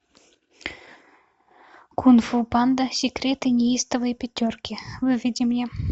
кунг фу панда секреты неистовой пятерки выведи мне